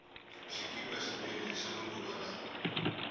xikipa xa mina hixa manguva lawa